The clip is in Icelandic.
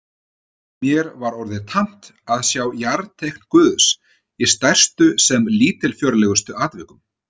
Mér var orðið tamt að sjá jarteikn Guðs í stærstu sem lítilfjörlegustu atvikum.